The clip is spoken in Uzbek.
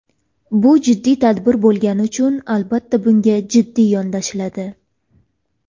Bu jiddiy tadbir bo‘lgani uchun albatta bunga jiddiy yondashiladi.